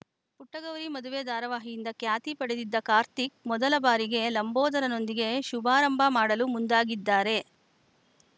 ಪುಟ್ಟಗೌರಿ ಮದುವೆ ಧಾರಾವಾಹಿಯಿಂದ ಖ್ಯಾತಿ ಪಡೆದಿದ್ದ ಕಾರ್ತಿಕ್‌ ಮೊದಲ ಬಾರಿಗೇ ಲಂಬೋದರನೊಂದಿಗೆ ಶುಭಾರಂಭ ಮಾಡಲು ಮುಂದಾಗಿದ್ದಾರೆ